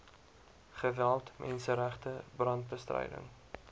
geweld menseregte brandbestryding